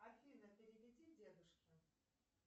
афина переведи дедушке